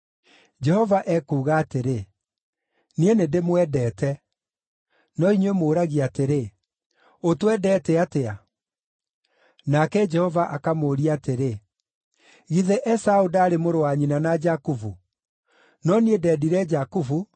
Jehova ekuuga atĩrĩ, “Niĩ nĩndĩmwendete. “No inyuĩ mũũragia atĩrĩ, ‘Ũtwendete atĩa?’ ” Nake Jehova akamũũria atĩrĩ, “Githĩ Esaũ ndaarĩ mũrũ wa nyina na Jakubu? No niĩ ndendire Jakubu,